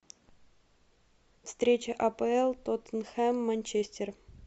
встреча апл тоттенхэм манчестер